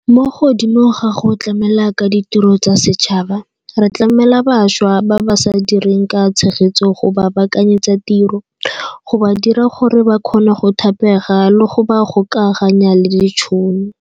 Mo godimo ga go tlamela ka ditiro tsa setšhaba, re tlamela bašwa ba ba sa direng ka tshegetso go ba baakanyetsa tiro, go ba dira gore ba kgone go thapega le go ba gokaganya le ditšhono.